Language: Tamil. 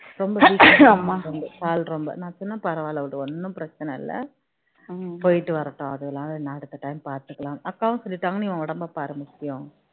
கால் ரொம்ப நான் சொனேன் பரவாயில்ல விடு ஒன்னும் பிரச்சனை இல்ல போயிட்டு வரட்டும் அதனால் என்ன இருக்கு பார்த்துக்கலாம் அக்காவும் சொல்லிட்டாங்க நீ உடம்ப பாருன்னு சொல்லி